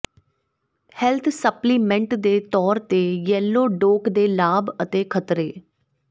health supplement ਦੇ ਤੌਰ ਤੇ ਯੈਲੋ ਡੋਕ ਦੇ ਲਾਭ ਅਤੇ ਖਤਰੇ